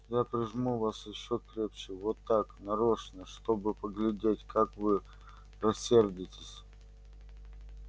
я прижму вас ещё крепче вот так нарочно чтобы поглядеть как вы рассердитесь